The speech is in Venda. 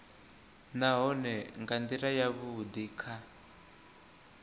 nahone nga ndila yavhudi kha